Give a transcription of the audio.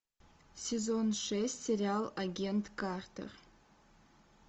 сезон шесть сериал агент картер